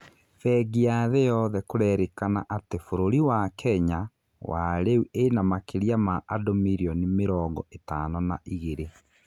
Bengi ya thĩ yothe kũrerĩkana atĩ bũrũri wa Kenya wa rĩu ĩnamakĩria ma andũ mirioni mĩrongo ĩtano na igĩrĩ